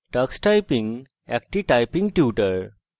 tux typing একটি typing tutor